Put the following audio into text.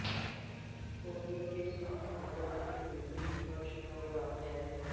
کونے کے suite hotel کے اوپری فرش پر واقع ہے